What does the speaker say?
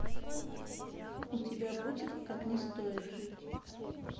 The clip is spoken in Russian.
у тебя будет как не стоит жить